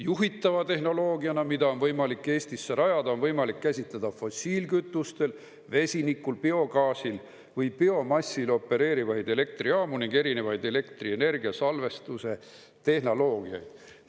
Juhitava tehnoloogiana, mida on võimalik Eestisse rajada, on võimalik käsitleda fossiilkütustel, vesinikul, biogaasil või biomassil opereerivaid elektrijaamu ning erinevaid elektrienergiasalvestuse tehnoloogiaid.